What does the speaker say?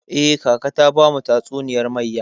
Eh, kaka ta bamu tatsuniyar mayya.